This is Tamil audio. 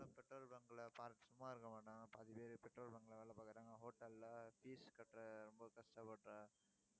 petrol bunk ல சும்மா இருக்க மாட்டாங்க, பாதி பேரு petrol bunk ல வேலை பாக்குறாங்க, hotel ல fees கட்டுற ரொம்ப கஷ்டப்படுற